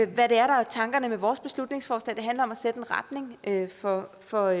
hvad der er tankerne med vores beslutningsforslag det handler om at sætte en retning for for